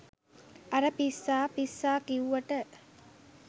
අර පිස්සා පිස්සා කිව්වට